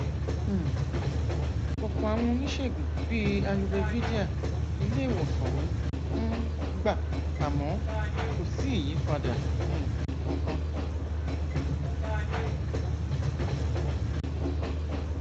um ọpọ àwọn oníṣègùn bíi ayurvédíà ilé ìwòsàn ń um gbà àmọ kò sí ìyípadà um kankan